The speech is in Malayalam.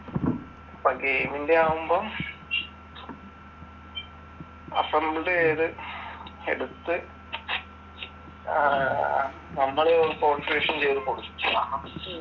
ഇപ്പം ഗെയിമിന്റെ ആവുമ്പം അസംബിൾ ചെയ്ത് എടുത്ത് അഹ് നമ്മള് കോൺഫിഗറേഷൻ ചെയ്ത് കൊടുക്കണം.